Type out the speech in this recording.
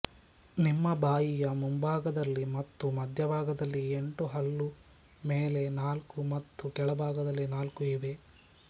ನಿಮ್ಮ ಬಾಯಿಯ ಮುಂಭಾಗದಲ್ಲಿ ಮತ್ತು ಮಧ್ಯಭಾಗದಲ್ಲಿ ಎಂಟು ಹಲ್ಲು ಮೇಲೆ ನಾಲ್ಕು ಮತ್ತು ಕೆಳಭಾಗದಲ್ಲಿ ನಾಲ್ಕು ಇವೆ